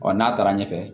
Ɔ n'a taara ɲɛfɛ